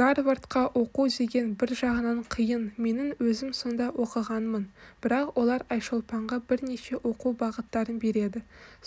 гарвардқа оқу деген бір жағынан қиын менің өзім сонда оқығанмын бірақ олар айшолпанға бірнеше оқу бағыттарын береді